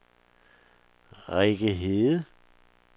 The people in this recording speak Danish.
Rikke Hede